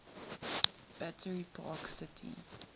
battery park city